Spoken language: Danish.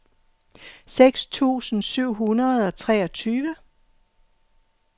seks tusind syv hundrede og treogtyve